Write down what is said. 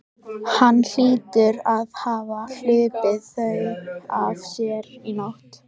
Hann hlýtur að hafa hlaupið þau af sér í nótt.